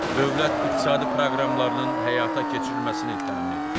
Dövlət iqtisadi proqramlarının həyata keçirilməsini təmin edir.